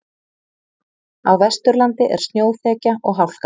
Á Vesturlandi er snjóþekja og hálka